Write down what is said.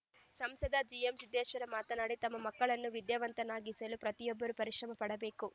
ಸಂಸದ ಜಿಎಂಸಿದ್ದೇಶ್ವರ ಮಾತನಾಡಿ ತಮ್ಮ ಮಕ್ಕಳನ್ನು ವಿದ್ಯಾವಂತರನ್ನಾಗಿಸಲು ಪ್ರತಿಯೊಬ್ಬರು ಪರಿಶ್ರಮ ಪಡಬೇಕು